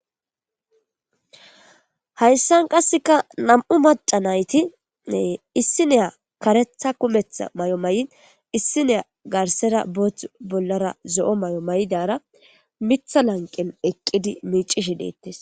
hayssan qasseka nam7u maca nayti issineya karetha kumetha may7o may7in issineya garsera boothth bollara zo7o may7o may7idara mitha lanqel eqqidi miicishe deettes